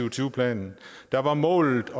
og tyve planen der var målet